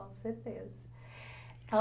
Com certeza.